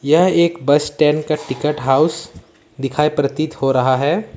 यह एक bus stand का हाउस दिखाई प्रतीत हो रहा है।